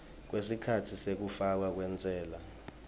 kwesikhatsi sekufakwa kwentsela